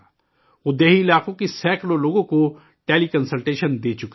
وہ دیہی علاقوں کے سینکڑوں لوگوں کو ٹیلی کنسلٹیشن دے چکے ہیں